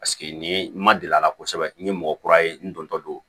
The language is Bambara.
Paseke nin ye n ma deli a la kosɛbɛ n ye mɔgɔ kura ye n dontɔ don